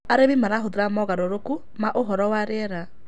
Arĩmĩ marahũthĩra mogarũrũkũ ma ũhoro wa rĩera